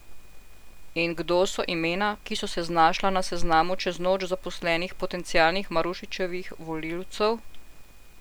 In kdo so imena, ki so se znašla na seznamu čez noč zaposlenih potencialnih Marušičevih volivcev?